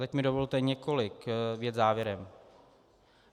Teď mi dovolte několik vět závěrem.